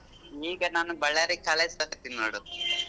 ಈಗ ನಾನ್ Bellary college ನೋಡು.